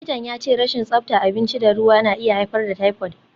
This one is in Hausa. Likitan ya ce rashin tsabta abinci da ruwa na iya haifar da typhoid.